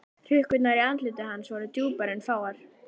Hrukkurnar í andliti hans voru djúpar en fáar.